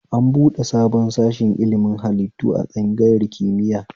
An buɗe sabon sashi ilimin hallitu a tsangayar kimiya